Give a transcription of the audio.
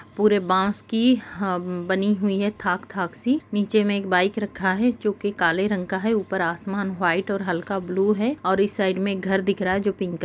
पूरे बाँस की बनी हुई है थाक थाक सी नीचे में एक बाइक रखा है जो की काले रंग का है ऊपर आसमान व्हाइट और हल्का ब्लू है और इस साइड में एक घर दिख रहा है जो पिंक है।